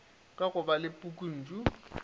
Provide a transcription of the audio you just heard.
ka go ba le pukuntšu